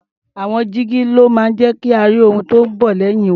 Àwọn jígí ló máa ń jẹ́ ka rí ohun tó ń bọ̀ lẹ́yìn wa.